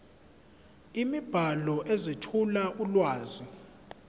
imibhalo ezethula ulwazi